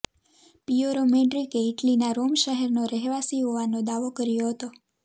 પિયોરો મૅડ્રિકે ઇટલીના રોમ શહેરનો રહેવાસી હોવાનો દાવો કર્યો હતો